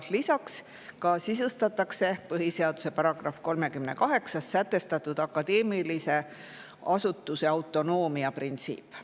Lisaks sisustatakse põhiseaduse §-s 38 sätestatud akadeemilise asutuse autonoomia printsiip.